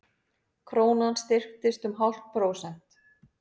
Krónan styrktist um hálft prósent